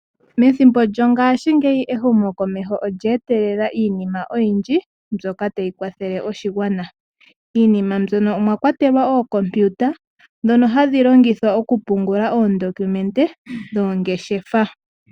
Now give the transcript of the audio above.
Methombo lyongaashi ngeyi ehumo komeho olyertelela iinima oyindji mbyoka tayi kwathele oshigwana, miinima mbyono omwa kwatelwa Oocompiuta ndhono hadhi longithwa okupungula oodokumente dhoongshefa